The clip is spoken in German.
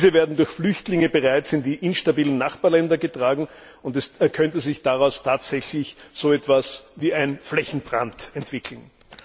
Diese werden durch Flüchtlinge bereits in die instabilen Nachbarländer getragen, und es könnte sich daraus tatsächlich so etwas wie ein Flächenbrand entwickeln.